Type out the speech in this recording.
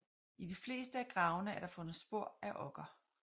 I de fleste af gravene er der fundet spor af okker